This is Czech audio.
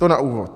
To na úvod.